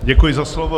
Děkuji za slovo.